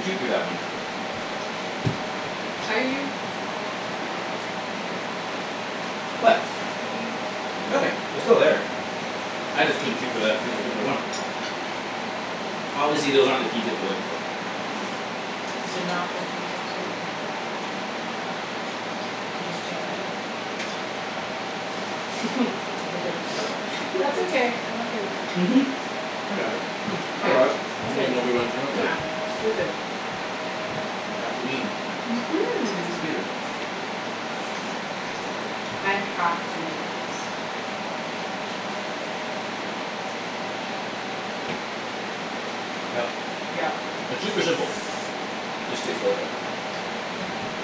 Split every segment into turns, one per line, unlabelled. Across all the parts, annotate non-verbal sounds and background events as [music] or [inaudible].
chew through that one.
Are you
What?
What are you,
Nothing.
oh.
They're still there. I just couldn't chew through that par- particular one. Obviously those aren't the pea tips we're looking for.
That's okay. I'm okay with that.
Mhm.
I got it.
Hmm, I
Yeah,
got it.
You
ok,
mean Obi Wan
yeah,
Kenobi.
Good.
you're
Good, good.
good.
Mhm.
[inaudible]
I have to make this.
Yep.
Yep.
It's super simple. Just takes a little bit.
Wow.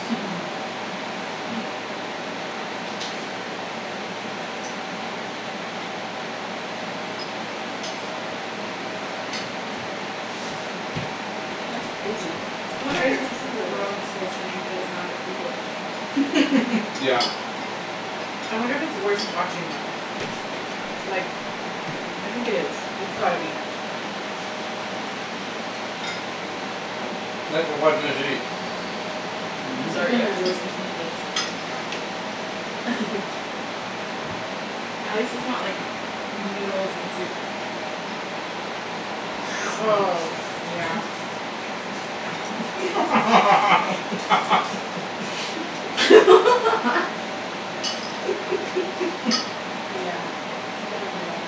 [laughs]
Hmm.
That's crazy.
I
It's
wonder if
crazy
it's
how simple it is.
gross listening to the sound of people eat.
[laughs] Yeah.
I wonder if it's worse watching them. Like I think it is; it's gotta be.
Thanks for watching us eat.
I'm sorry you have to listen
[noise]
to me eat.
[laughs]
[laughs] At least its not like noodles and soup.
Oh, yeah.
[noise] [laughs]
[laughs]
[laughs]
Yeah, that would be bad.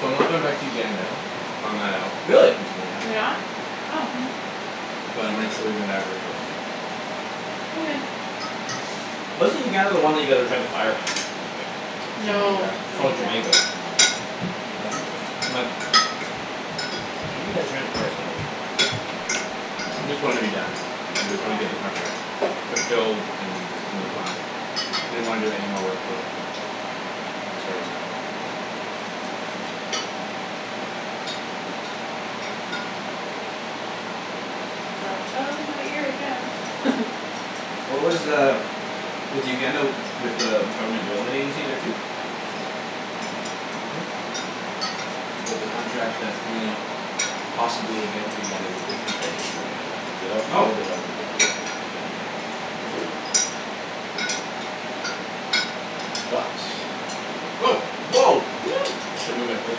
So I'm not going back to Uganda; I found that out,
Really?
recently, yeah.
You're not?
Nope.
Oh.
But I might still be going to Ivory Coast.
Okay.
Wasn't Uganda the one that you guys were trying to fire?
That's
No,
Jamaica.
Oh,
Jamaica.
Jamaica. That's what it was. My [inaudible] fire somebody.
Just wanna be done. I just wanna get the
Yeah.
contract fulfilled and then just move on. Didn't wanna do any more work for them There's a story on that one.
Fell out of my ear again. [laughs]
What was uh Was the Uganda with uh government development agency there too?
Mhm. But the contract that's coming up possibly again for Uganda is a different bank in Uganda.
Oh.
[inaudible] Uga- Uganda But
Woah.
I should move my plate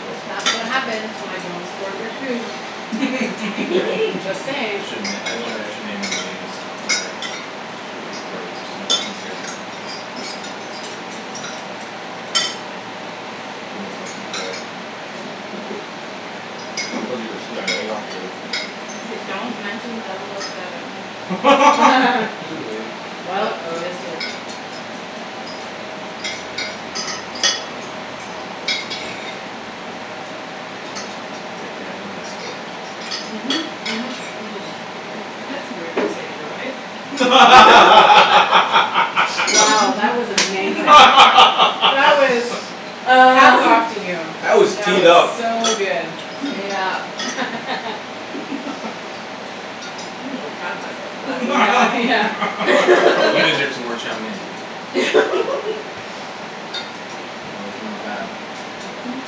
closer.
That's what happens when I don't escort your food.
Right.
Just
[laughs]
[laughs]
I
saying.
shouldn- I don't think I should name any names when we're recording, just to make it easier on them. Who I'm working for.
Cuz you're a CIA operative.
I say don't mention double o seven.
[laughs]
Too late.
[laughs]
Well, you just
uh-oh.
did.
K, Kara, I need an escort.
Mhm, mhm, mhm.
That's rude to say to your wife. [laughs]
[laughs]
Wow, that was amazing. That was,
[laughs]
hats
Uh.
off to
[laughs]
you.
That was
That
teed
was
up.
so good.
Yep.
[laughs]
[laughs]
I'm a little proud of myself for that
[noise] Yeah.
You
one. [laughs]
deserve
[laughs]
some more chow mein.
[laughs]
It was not bad.
Mhm.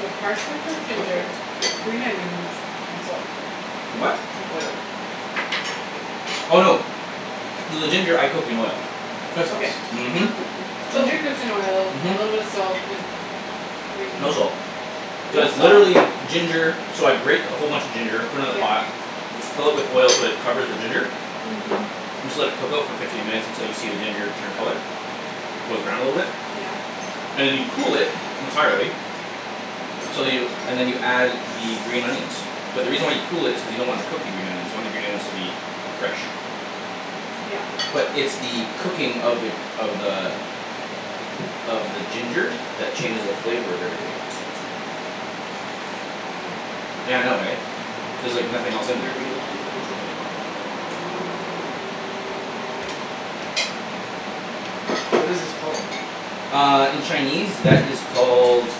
So partially cooked ginger, green onions and salt.
For what?
And oil.
Oh, no. So the ginger I cook in oil.
Soy
Okay.
sauce.
Mhm.
Ginger
[noise]
cooks in oil, a little bit of
Mhm.
salt and green
No salt.
No
Just
salt?
literally ginger. So I grate a whole bunch of ginger, put it in a
yeah
pot. fill it with oil so it covers the ginger
Mhm.
and just let it cook out for fifteen minutes until you see the ginger turn color. It goes brown a little bit.
Yeah.
And then you cool it entirely so you, and then you add the green onions. But the reason why you cool it is because you don't want to cook the green onions. You want the green onions to be fresh.
Yep.
But it's the cooking of the, of the of the ginger that changes the flavor of everything.
Wow.
Yeah, I know, eh? There's, like, nothing else in there.
That's crazy.
What is this called?
Uh, in Chinese that is called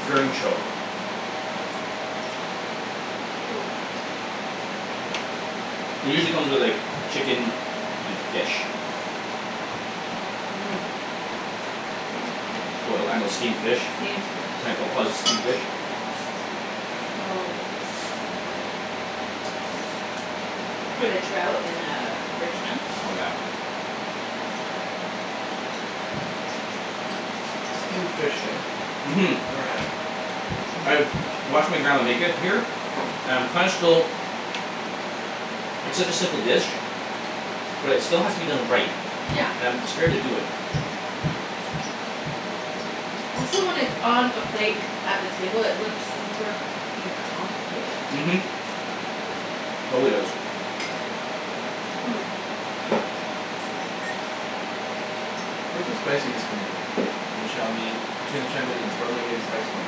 [inaudible]
Cool.
It usually come with, like, chicken and fish.
[noise] Boiled fish.
Boil, I, I know, steamed fish.
Steamed fish.
[inaudible] steamed fish.
[inaudible] With a trout in uh Richmond.
Oh, yeah.
Steamed fish, eh?
Mhm.
Never had it.
I've watched my grandma make it here and kinda still It's such a simple dish. But it still has to be done right. And I'm scared to do it.
Also when it's on a plate at the table it look super fuckin'
Mhm.
complicated.
Totally does.
Hmm.
Where's the spiciness coming from? In the chow mein, between the chow mein and the [inaudible] where am I getting the spice from?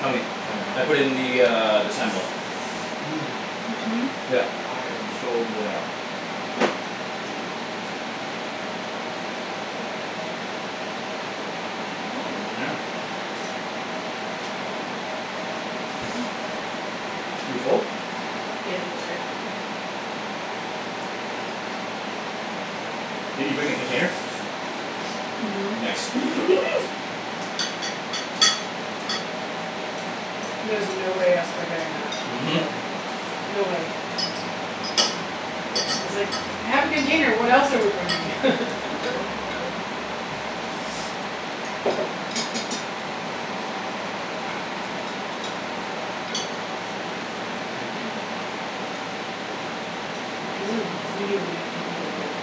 Chow mein.
Chow
I
mein, ok.
put in the, uh, the sambal.
Mmm,
Mhm.
Yep.
I am so into that.
Yeah. You full?
Getting there.
Did you bring a container?
Mhm.
Nice.
There was no way I was forgetting that
Mhm.
today. No way. I was like, "I have a container what else are we bringing."
[laughs]
This is really, really good.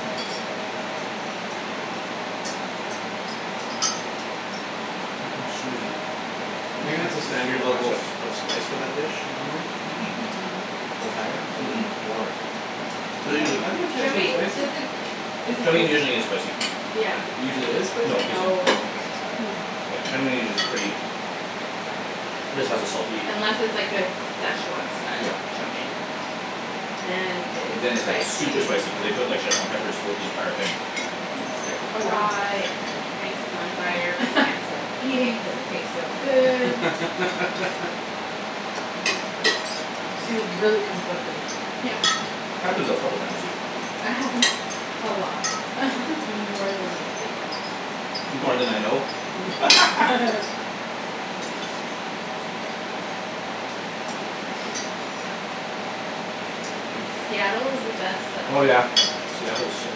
Hmm. Oh, Susie.
Do you think that's a standard level of,
[inaudible]
of spice for that dish, normally?
Mm-
Mm-
mm.
mm.
A little higher or
Mm-
little
mm.
lower? I'm not, I
[inaudible]
dunno if
Chow
Chinese food is
mein
spicy.
doesn't isn't
Chow mein usually
usu-
isn't spicy.
Yeah.
Usually is spicy?
No, isn't.
No.
Oh, okay. So sorry.
Mmm.
Yeah, chow mein is usu- pretty just has a salty
Unless it's, like, a Szechwan style
Yep.
chow mein. Then it
Then
is
it's, like, super
spicy.
spicy cuz they put, like, Szechwan peppers throughout the entire thing.
Uh and you start to
Oh, wow.
cry and your face is on fire but you can't
[laughs]
stop eating cuz it tastes so good.
[laughs]
So you're really conflicted.
Happens a couple of times to you.
It happens a lot, more than you'd think.
More then I know?
Yeah. [laughs]
[laughs]
[laughs]
Mmm.
Seattle is the best
Oh,
Oh,
though.
yeah.
yeah. Seattle's so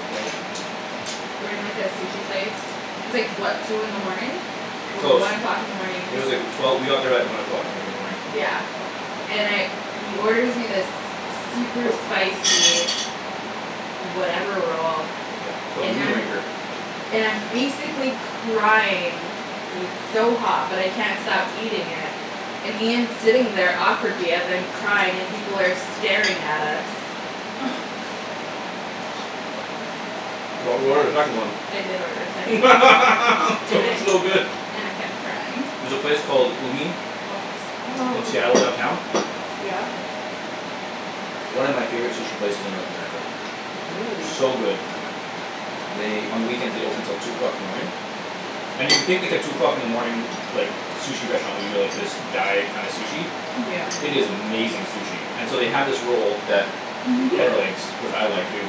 far.
We were in, like, a sushi place. It's, like, what, two in the morning? Or
Close.
one o'clock in the morning.
It was like, wh- twelve, we got there at one o'clock, I think, in the morning.
Yeah. And I, he orders me this super spicy whatever roll
Yeah, it's called the
and
Moon
I'm,
Raker.
and I'm basically crying cuz it's so hot but I can't stop eating it and Ian's sitting there awkwardly as I'm crying and people are staring at us.
[noise]
But we ordered a second one.
I did order a
[laughs]
second one.
That
And
was
I
so good.
and I kept crying.
There's a place called Umi
Oh,
in
so
Seattle downtown.
yummy.
Yeah?
One of my favorite sushi places in North America.
Really.
So good. They, on the weekends they open till two o'clock in the morning. And you would think, like, a two o'clock in the morning like, sushi restaurant would be, like, this dive kinda sushi.
Yeah.
Mm-
It is
mm.
amazing sushi. And so they have this roll that Ped
[laughs]
likes, which I like too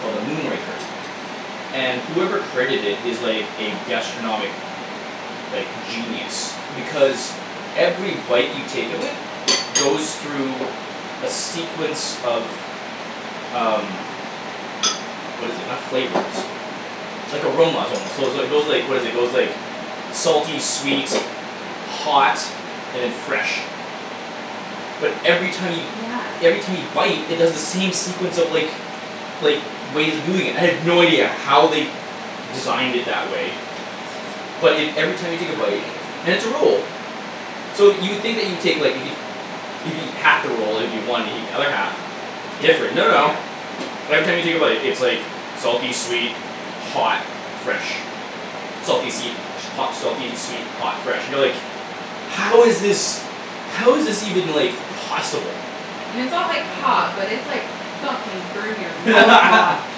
called the Moon Raker. And whoever created it is, like, a gastronomic like, genius. Because every bite you take of it goes through a sequence of um what is it, not flavors like, aromas, almost, so is, it goes, like, what is it, it goes, like salty, sweet hot and then fresh. But every time you
Yeah.
every time you bite it does the same sequence of, like like, ways of doing it. I have no idea how they designed it that way but it, every time you take a bite,
Amazing.
and it's a roll. So you would think that you would take, like, if you if you eat half the roll, it would be one if you eat the other half. Different, no, no. Every time you take a bite, it's, like salty, sweet, hot fresh. Salty, seed hot, selfie, sweet hot, fresh, you know, like "How is this How is this even, like, possible?"
And it's not, like, hot
[noise]
but it's, like, fucking burn-your-mouth hot.
[laughs]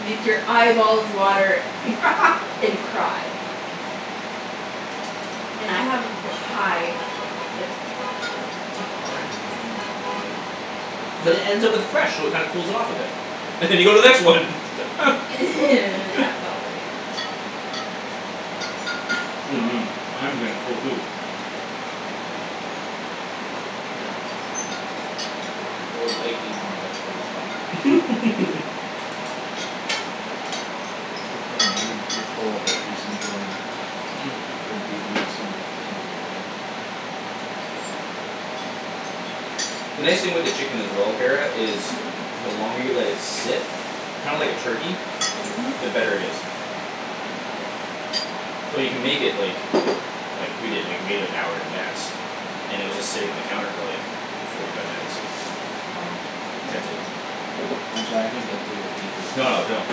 Make your eyeballs water
[laughs]
and cry. And I have a ba- high like, heat tolerance.
[noise]
But it ends up with fresh so it kinda cools it off a bit. And you go to the next one.
And it happens
[laughs]
all over again.
Oh, man, I'm getting full too.
Yeah. I would like to eat more veg, but I'll stop.
[laughs]
[laughs]
That's the thing, eh? You're full but you're just enjoying [inaudible]
The nice thing with the chicken as well, Kara, is the longer you let it sit kinda like a turkey,
Mhm.
the better it is. So you can make it, like like, we did, like, we made it an hour in advance. And it was just sitting on the counter for, like forty five minutes.
Wow.
[inaudible]
I'm sorry, I can't get through the pea things.
No, no, don't,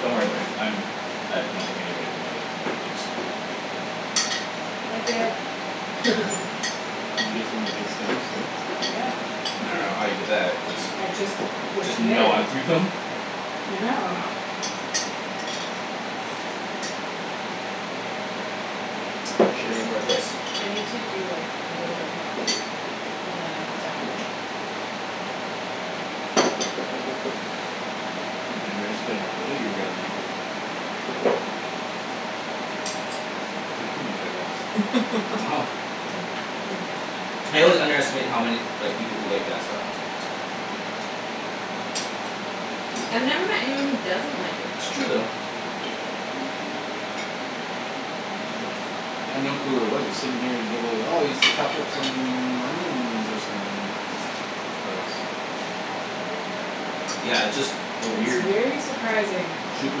don't worry about it. I'm I don't think anybody's gonna be able to get through the pea tips.
I did. [laughs]
Did you get some of the big stems too?
Yeah.
I don't know how
Interesting.
you did that cuz
I just was
Just
committed.
gnawed through them?
Yeah.
Wow. Shoulda made more of this.
I need to do like a little bit more of this and then I'm done.
I think you underestimated how good that you were gonna make it. I took too much, I guess. [laughs]
Wow. I always underestimate how many, like, people who like that stuff.
I've never met anyone who doesn't like it
It's true
though.
though.
[noise]
I'd no clue what it was. I was sitting here and it looked like, "Oh, he's chopped up some onions or something for us." Oh, man.
Yeah, it's just a
It's
weird
very surprising.
Super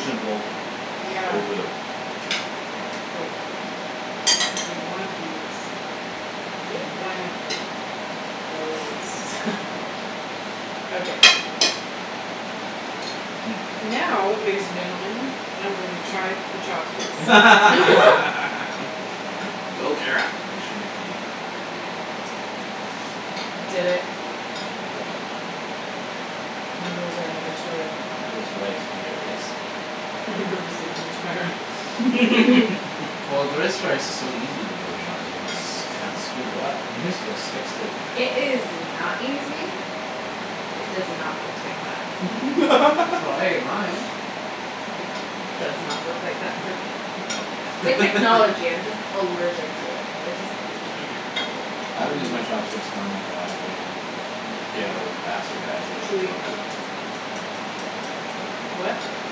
simple
Yeah.
so good.
Wait. I need one of these and
[laughs]
one of those. Okay.
Mmm.
Now, ladies and gentlemen, I'm going to try the chopsticks.
[laughs]
[laughs] Go, Kara.
This should be funny.
Did it.
All done.
Noodles are another story.
How's rice? Can you get rice?
[laughs] I purposely finished my rice. [laughs]
Mhm.
[laughs]
Well, [inaudible] is so easy to do with chopsticks. You just s- kind of scoop it up and
Mhm.
it just sticks to
It is not easy. It does not work like that.
That's how I ate mine.
[laughs]
It does not work like that for me.
Yeah,
It's
okay.
like
[laughs]
technology. I'm just allergic to it. I just can't do it.
I don't use
Hmm.
my chopsticks normally though. I have like my own ghetto bastardized way of
Chewy.
the
What?
[noise]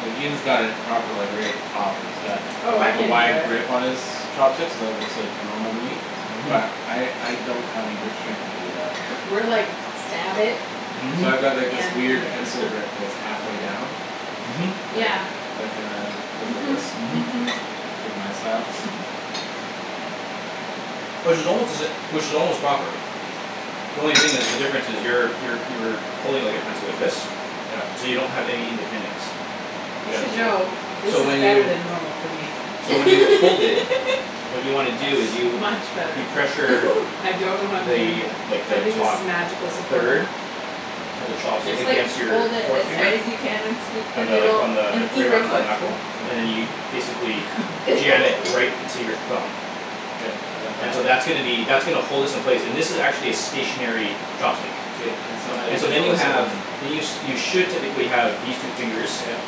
Like, Ian's got it proper, like, right at the top, and it's got,
Oh, I
like, a
can't do
wide
that.
grip on his chopsticks so that looks like normal to me
Mhm.
but I, I don't have any grip strength when I do that.
We're like, "Stab it.
Mhm.
So I've got like this
and eat
weird
it."
pencil
[laughs]
grip that's half way down.
Mhm.
That,
Yeah.
that kinda goes like this.
Mhm,
Mhm.
mhm.
It's like my style.
[laughs]
Which is almost to sa- which is almost proper. The only thing is, the difference is, you're, you're, you're pulling, like, a pencil, like this
Yep.
so you don't have any independence.
You
Yeah,
should
it's true.
know, this
So when
is better
you
than normal for me.
so when you hold it
[laughs]
what you wanna do is you
Much better.
you pressure
[laughs]
I don't know how I'm doing it.
the, like,
I
the
think this
top
is magical supporter.
third of the
You
chopstick
just, like,
against your
hold it
forth
as
finger
hard as you can and scoop the
on the, like,
noodle
on
and
the
eat
right
real
on the
quick.
knuckle and then you
Yeah.
basically jam it right
[laughs]
into your thumb.
Yep, I got
And so
that.
that's gonna be, that's gonna hold this in place, and this is actually a stationary
K-
chopstick.
k, and so how do you
And so then
control
you
the second
have
one?
then you sh- should technically have these two fingers
Yep.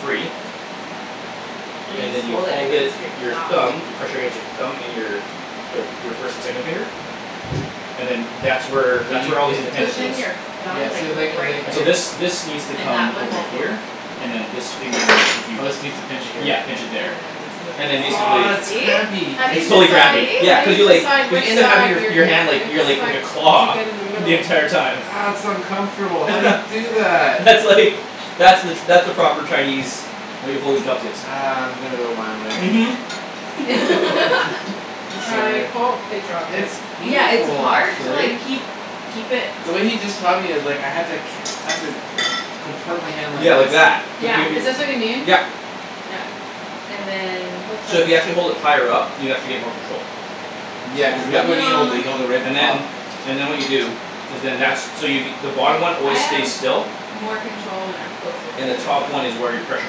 free.
And you
and
just
then you
hold it
hold
against your
it, your
thumb.
thumb, you pressure against your thumb, and your their f- your first and second finger and then that's where
So
that's where all the
Push
independence
in
is.
your
you
thumb,
Yeah,
like,
see, and like, and
right
like
And so this,
there.
this needs to
And that
come
one
over
won't move.
here, and then this finger, if you
Oh, this needs to pinch it here.
Yeah, pinch it there.
And
and then
then
basically
Ah, that's
this. [inaudible]
crampy.
How do you
It's totally
See?
decide,
crampy,
See?
yeah.
how do
Cuz
you
you, like,
decide
you
which
end up having
side
your f-
you're
your
gonna,
hand like, your,
it's
like, like a
like You take
claw
it in the middle.
the entire
Ah,
time.
that's uncomfortable. How do you
[laughs]
do that?
That's, like, that's the that's the proper Chinese way of holding chopsticks.
Ah, I'm gonna go my way.
Mhm.
[laughs]
[laughs]
I'm
Sorry.
trying, oh, it dropped it.
It's
Yeah, it's
painful
hard to like
actually.
keep, keep it
The way he just taught me, it's like, I had to ca- I have to con- contort my hand like
Yeah, like that.
this.
Like
Yeah.
yo-
Is this what you
yo-
mean?
yep.
Yeah. And then
So if you actually
[inaudible]
hold it higher up, you actually get more control.
Yeah, cuz look
Yep.
when he holds it;
No.
he holds it right at
And
the top.
then, and then what you do is then, that's, so you the
Se-
bottom one
I
always
have
stays still
more control when I'm closer to
and the
it
top one is
though.
where your pressure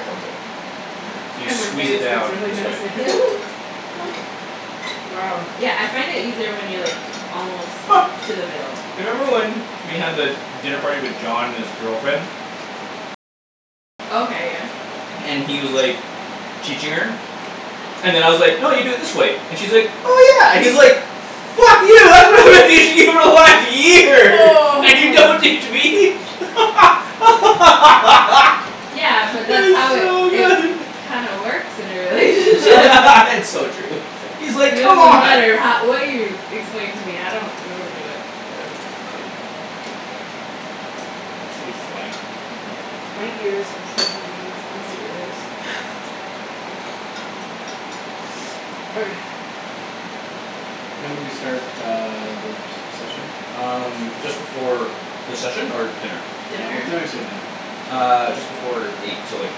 comes in. So you squeeze it down this way
[inaudible]
[laughs]
Wow.
Yeah, I find it easier when you're, like almost
[laughs]
to the middle.
You remember when we had the dinner party with John and his girlfriend?
Okay, yeah.
And he was, like teaching her and then I was like, "No, you do it this way." And she's like, "Oh, yeah" and he's like "Fuck you [laughs] [inaudible] for one year,
Oh.
and you don't teach me?" [laughs]
Yeah, but that's
That
how
was
it,
so
it
good.
kinda works in a [laughs] relationship.
[laughs] It's so true. He's,
It
like, "Come
doesn't
on."
matter how, what you explain to me; I don't, I don't get it. I don't get it. I don't get it.
That was funny.
Yeah.
My ears have special needs. I'm serious. Okay.
What time did we start uh the se- session?
Um, just before The session? Or dinner?
Yeah, what time did we start dinner?
Uh, just before eight, so like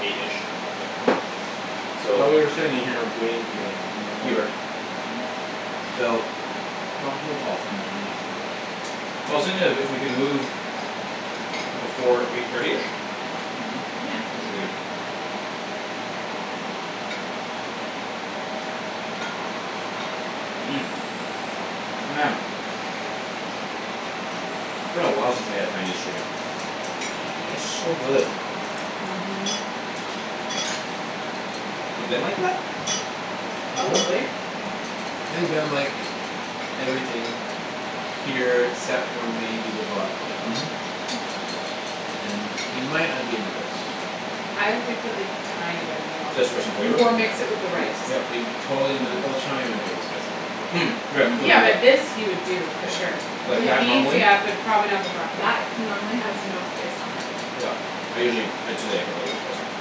eight-ish. So.
Thought we were sitting in here waiting for dinner, so
You were.
[inaudible]
So.
No, no. [inaudible]
I was thinking if, if we can move before eight thirty-ish
Mhm.
Yeah.
we should be good. Mmm, man. It's been a while since we had Haianese chicken.
Yep.
It's so good.
Mhm.
Mhm.
We've been like that?
Mhm.
[noise]
Probably.
I think Ben would like everything here except for maybe the broccoli.
Mhm.
And he might not be into this.
I would put, like, tiny bit of it on.
Just for some flavor?
Or mix it
Yeah.
with the rice.
Yep.
He'd be totally into the, well, the chow mein might be a little spicy for him too, actually.
Mm, right, cuz
Yeah,
of
but this
the
he would do for sure.
Yeah.
Like,
The
that,
beef,
normally?
yeah, but probably not the broccoli.
That normally has no spice on it.
Yep, I usually, ah, today I put a little bit of spice in it.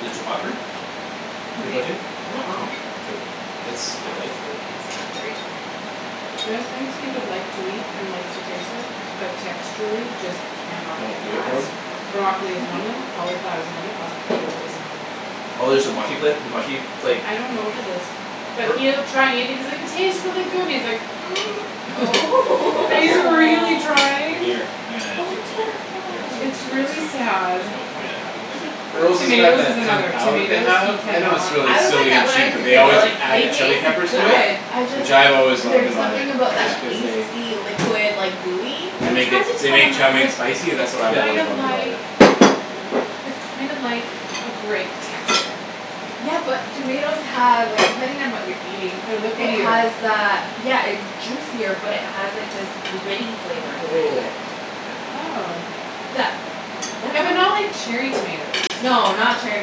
Is it too hot for you?
For
Too
me?
spicy?
Uh- uh.
Oh, good.
It's
No,
delightful.
it's great.
There are thing he would like to eat and likes to taste it but texturally just can not
Don't
get
do it
past.
for him?
Broccoli is one of them,
[noise]
cauliflower is another,
Hm.
avocado is another.
Oh there's the mushy fla- the mushy, like
I don't know what it is. But
Or
he'll try and eat and he's like, "It tastes really good" and he's like, [noise]
Oh.
[laughs]
[laughs]
And he's a
[inaudible]
really
Aw.
trying.
Gimme your, ah, take
Oh,
this outta
poor
here.
Sure.
It's
guy.
Cuz it's
really
kind of,
sad.
there's no point of having it in there.
Earl's has got
Tomatoes is
that Kung
another.
Pow that they
Tomatoes, he
have. I know it's
cannot.
really
I was like
silly and
that when I
cheap
was
but
a
they
kid
always
though.
No,
They
add
yep.
chile
taste
peppers to it
Yep.
good. I just,
which I've always loved
there's
about it,
something about that
Yeah.
just cause they
pasty liquid, like, gooey.
they
Well, I
make it,
tried to
they
tell
make
him. I
chow
was
mein
like,
spicy and that's what
"It's
I've
Yeah
kind
always
of
loved about
like
it.
it's kind of like a grape texture."
Yeah, but tomatoes have, like, depending on what you're eating
They're
it
liquidier.
has that, yeah, it's juicier but it has, like, this
[noise]
gritty flavor inside of it.
Oh, yeah.
Oh.
That That's
Yeah,
what
but not like cherry tomatoes.
No, not cherry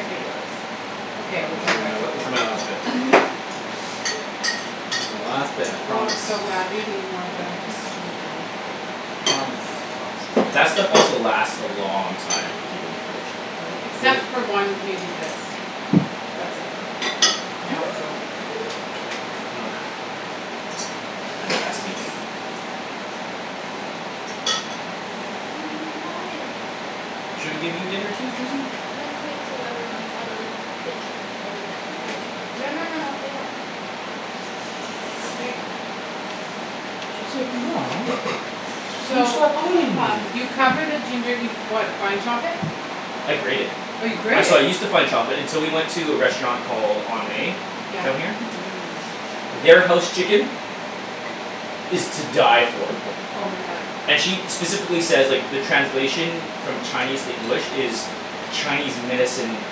tomatoes.
Okay, we're
This
going
is
back
my,
to
Mm.
this is my last
[inaudible]
bit.
[laughs]
This is my last bit, I
I
promise.
want so badly to eat more but I just
Mm.
I, I
shouldn't do it.
[noise] I
can't
promise. My
That
promise
stuff
is
also
a lie.
lasts a long time if you keep it in the fridge.
Really,
Cuz
except
[noise]
it
for one, maybe this. That's it; now it's over.
[laughs]
[noise] [inaudible]
Hi.
[noise]
Should we give you dinner too, Susie?
Let's wait till everyone's out of the kitchen. Or the dinning room.
Okay.
No, no, no, no, lay down. There you go.
[inaudible] Mom. You
So
stopped
Oh,
petting
huff.
me.
you cover the ginger, you what, fine chop it?
I grate it.
Oh, you
I,
grate it?
so I use to fine chop it until we went to a restaurant called On May
Yeah.
down
Mhm.
here. Their house chicken is to die for.
Oh, my god.
And she specifically says, like, the translation from Chinese to English is Chinese medicine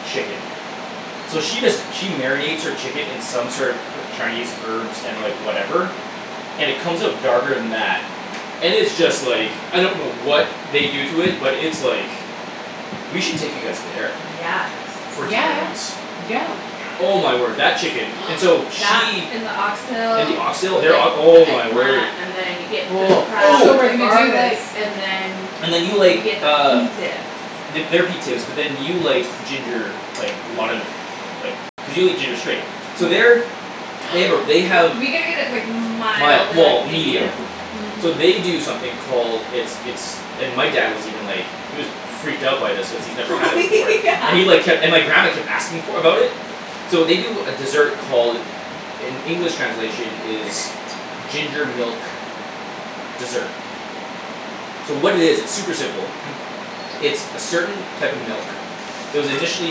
chicken. So she does she marinates her chicken in sort of her- Chinese herbs and, like, whatever and it comes out darker than that and it's just, like
Yeah.
I don't know what they do to it but it's, like we should take you guys there
Yes.
for dinner
Yeah,
once.
yeah.
Oh, yeah.
Oh, my word, that chicken. And so
That
she
and the
And
oxtail
the oxtail,
with like
their ok- oh,
the
my
eggplant
word.
and then you get the
Oh.
crab
So
with
we're
the
Ooh.
Oh.
gonna do this.
garlic and then
And then you
you
like,
get the pea
uh
tips.
The, their pea tips but then you like ginger, like, a lot of like, cuz you'll eat ginger straight. So their
[noise]
They have a, they have
We gotta get it, like, mild
Mild,
or,
well,
like, medium.
medium. So
Mhm.
they do something called It's, it's and my dad was even like he was freaked out by this cuz he's never
Oh
had it before
[laughs] yeah.
and he like kept, and my grandma kept for, about it. So they do a desert called in English translation is ginger milk dessert. So what it is, it's super simple. [noise] It's a certain type of milk. It was initially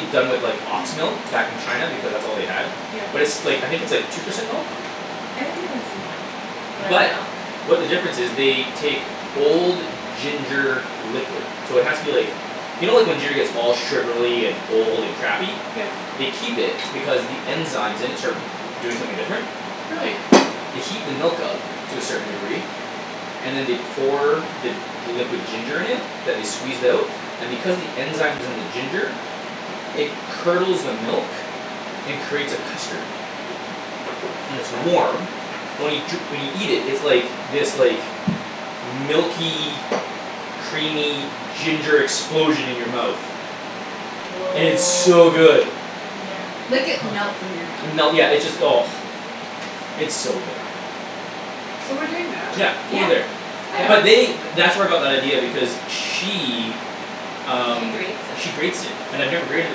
done with, like, ox milk back in China because that's all they had
Yep.
but it's, like, I think it's, like, two percent milk?
I think they just use milk, whatever
But
milk.
what the difference is, they take old ginger liquid. So it has to be, like you know like, when giner gets all sugarly and old and crappy?
Yeah.
They keep it because the enzymes in it start doing something different.
[noise]
Really.
They heat the milk up to a certain degree and then they pour the, the liquid ginger in it that they squeezed out and because the enzyme's in the ginger it curdles the milk and creates a custard. And it's warm only jur- when you eat it, it's like, this, like, milky creamy ginger explosion in your mouth.
Woah.
And it's so good.
Like, it
[noise]
melts in your
And melt,
mouth.
yeah, it just, oh. It's so good.
So we're doing that?
Yeah,
Yeah.
over there.
Yeah?
Oh,
But
yeah.
they, th- that's where I got that idea because she
She
um, she
grates it.
grates it. And I've never grated it